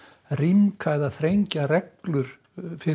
rýmka eða þrengja reglur fyrir